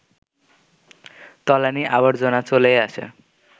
তলানি-আবর্জনা চলেই আসে